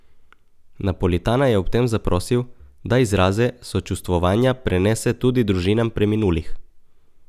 Napolitana je ob tem zaprosil, da izraze sočustvovanja prenese tudi družinam preminulih.